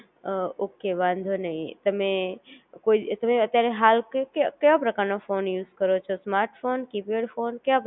અ okay વાંધો નહિ, તમે કોઈ અત્યારે હાલ ક કેવા પ્રકાર નો ફોન યુઝ કરો છો? સ્માર્ટફોન? Keypad phone?